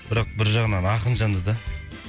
бірақ бір жағынан ақын жанды да